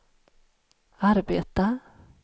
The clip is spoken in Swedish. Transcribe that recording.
arbeta